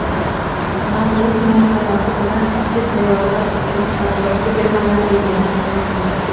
Navro‘z munosabati bilan ichki sayohat uchun qator chegirmalar e’lon qilindi.